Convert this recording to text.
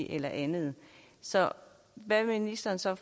eller andet så hvad vil ministeren så